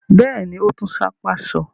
Bẹ́ẹ̀ ni, ó tún sápá sọ.